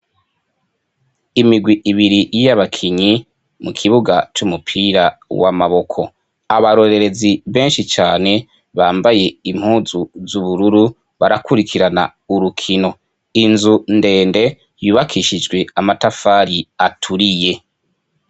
Imigwi ibiri yabakinyi mukibuga c'umupira w'amaboko. Abarorererzi benshi cane bambaye impuzu zubururu ,barakurikirana urukino. Inzu ndende yubakishijwe amatafari aturiye